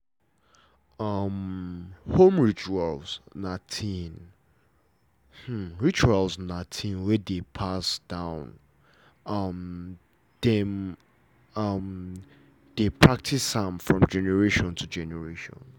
um home rituals na thing rituals na thing wey dey pass down um dem um dey practice am from generation to generation